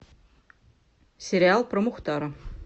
сериал про мухтара